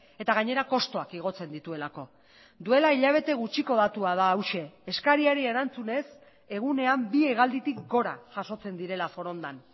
eta gainera kostuak igotzen dituelako duela hilabete gutxiko datua da hauxe eskariari erantzunez egunean bi hegalditik gora jasotzen direla forondan